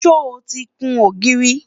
sọ tí kún ògiri?